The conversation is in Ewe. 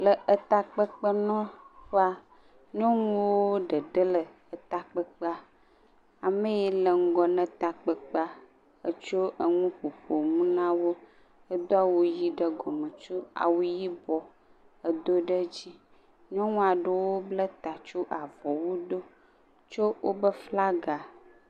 Le etakpekpe nɔƒea, nyɔnuwo ɖeɖe le etakpeƒea, ame ye le ŋgɔ ne takpekpea, etsɔ enu ƒoƒom na wo, edo wu ʋɛ̃ ɖe gɔme, etsɔ awu yibɔ edo ɖe edzi. Nyɔnu aɖewo ble ta tsɔ avɔwu do, tsɔ wobe flaga.